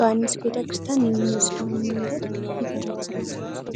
ዮሐንስ ቤተ ክርስቲያን የሚወስደውን መንገድ ይዘረዝራል።